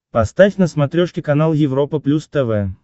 поставь на смотрешке канал европа плюс тв